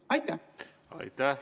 Aitäh!